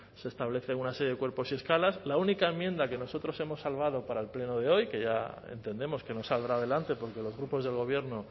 se establecen una serie de cuerpos y escalas la única enmienda que nosotros hemos salvado para el pleno de hoy que ya entendemos que no saldrá adelante porque los grupos del gobierno